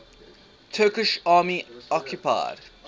turkish army occupied